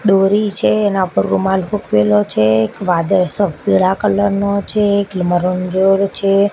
દોરી છે એના ઉપર રૂમાલ હુકવેલો છે એક વાદળ સ પીડા કલર નો છે એક છે.